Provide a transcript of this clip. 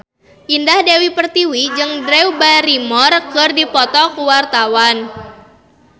Indah Dewi Pertiwi jeung Drew Barrymore keur dipoto ku wartawan